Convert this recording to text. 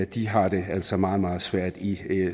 de har det altså meget meget svært i